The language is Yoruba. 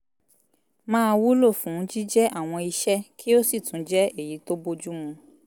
máa wúlò fún jíjẹ́ àwọn iṣẹ́ kí ó sì tún jẹ́ èyí tó bójú mu